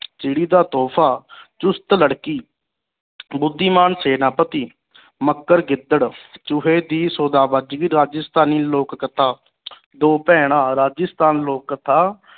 ਚਿੜੀ ਦਾ ਤੋਹਫ਼ਾ, ਚੁਸਤ ਲੜਕੀ, ਬੁੱਧੀਮਾਨ ਸੈਨਾਪਤੀ, ਮਕਰ ਗਿੱਦੜ, ਚੂਹੇ ਦੀ ਵਜਗਈ, ਰਾਜਸਥਾਨੀ ਲੋਕ ਕਥਾ, ਦੋ ਭੈਣਾਂ, ਰਾਜਸਥਾਨੀ ਲੋਕ ਕਥਾ